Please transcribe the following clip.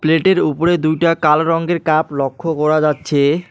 প্লেটের উপরে দুইটা কালো রঙ্গের কাপ লক্ষ্য করা যাচ্ছে।